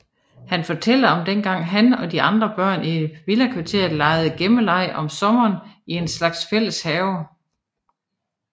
Han fortæller om dengang han og de andre børn i villakvarteret legede gemmeleg om sommeren i en slags fælles have